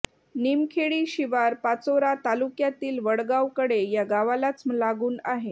निमखेडी शिवार पाचोरा तालुक्यातील वडगाव कडे या गावालाच लागून आहे